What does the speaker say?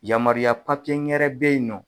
Yamaruya papiye n gɛrɛ bɛ yen nɔ.